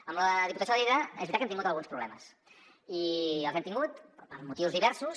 amb la diputació de lleida és veritat que hem tingut alguns problemes i els hem tingut per motius diversos